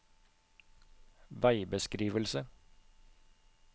veibeskrivelse